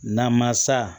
Namasa